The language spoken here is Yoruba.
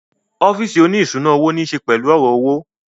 Ọ́físì oní ìṣúná owó ní ṣe pẹ̀lú ọ̀rọ̀ owó